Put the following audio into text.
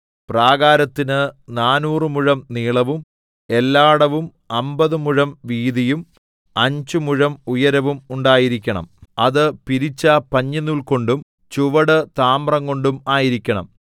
പ്രാകാരത്തിന് നാനൂറ് മുഴം നീളവും എല്ലാടവും അമ്പത് മുഴം വീതിയും അഞ്ച് മുഴം ഉയരവും ഉണ്ടായിരിക്കണം അത് പിരിച്ച പഞ്ഞിനൂൽകൊണ്ടും ചുവട് താമ്രംകൊണ്ടും ആയിരിക്കണം